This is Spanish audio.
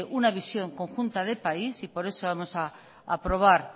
una visión conjunta del país y por eso vamos a aprobar